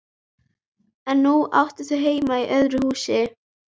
En núna áttu þau heima í öðru húsi.